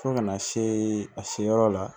Fo kana se a seyɔrɔ la